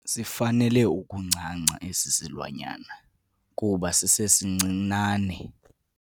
Sifanele ukuncanca esi silwanyana kuba sisesincinane.